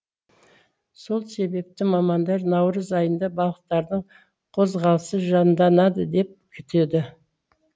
сол себепті мамандар наурыз айында балықтардың қозғалысы жанданады деп күтеді